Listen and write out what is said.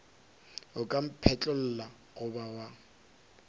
o ka mphetlolla goba wa